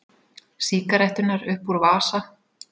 Sígaretturnar upp úr vasa.